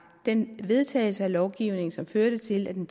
den vedtagelse af lovgivningen som førte til at den